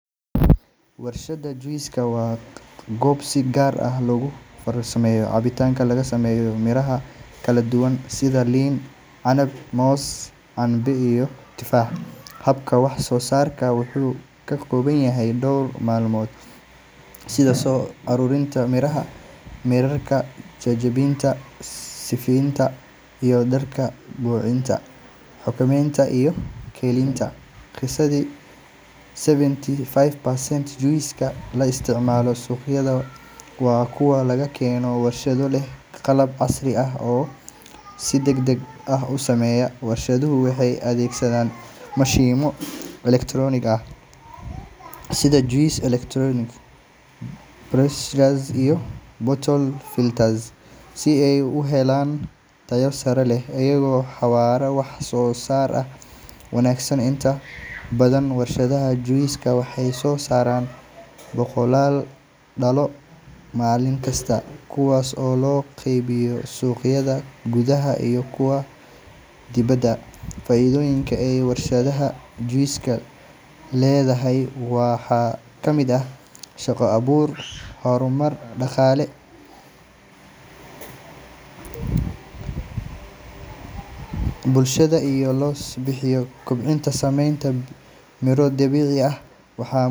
Warshadda juice waa goob si gaar ah loogu farsameeyo cabitaan laga sameeyo miraha kala duwan sida liin, canab, moos, cambe, iyo tufaax. Habka wax-soo-saarka wuxuu ka kooban yahay dhowr marxaladood sida soo uruurinta miraha, mayrka, jajabinta, sifeynta, isku-darka, bacriminta, baakaynta, iyo keydinta. Qiyaastii seventy five percent juice la isticmaalo suuqyada waa kuwo laga keeno warshado leh qalab casri ah oo si degdeg ah u shaqeeya. Warshaduhu waxay adeegsadaan mashiinno elektaroonig ah sida juice extractors, pasteurizers, iyo bottle fillers si ay u helaan tayo sare leh iyo xawaare wax-soo-saar oo wanaagsan. Inta badan warshadaha juice waxay soo saaraan boqolaal dhalo maalin kasta, kuwaas oo loo qaybiyo suuqyada gudaha iyo kuwa dibedda. Faa’iidooyinka ay warshadda juice leedahay waxaa ka mid ah shaqo-abuur, horumar dhaqaale, iyo kor u qaadidda caafimaadka bulshada iyada oo la bixinayo cabitaanno ka samaysan miro dabiici ah. Waxaa.